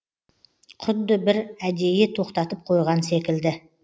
құдды бір әдейі тоқтатып қойған секілді